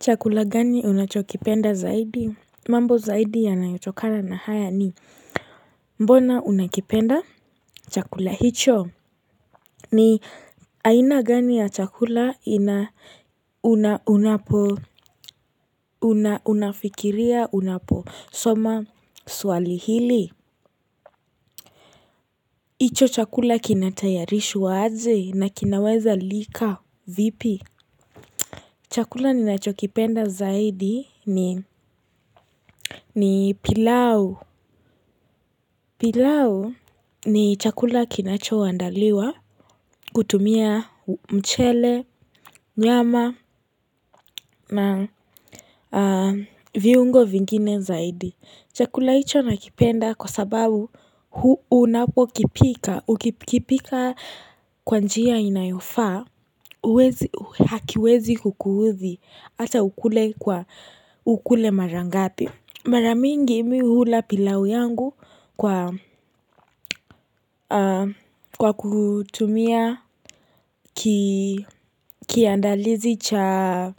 Chakula gani unachokipenda zaidi? Mambo zaidi yanayotokana na haya ni mbona unakipenda chakula hicho? Ni aina gani ya chakula unafikiria unaposoma swali hili? Hicho chakula kinatayarishwa aje na kinaweza lika vipi? Chakula ninachokipenda zaidi ni pilau. Pilau ni chakula kinachoandaliwa kutumia mchele, nyama na viungo vingine zaidi. Chakula hicho nakipenda kwa sababu unapo kipika kwa njia inayofa hakiwezi kukuudhi ata ukule mara ngapi. Mara mingi mi uhula pilau yangu kwa kutumia kiandalizi cha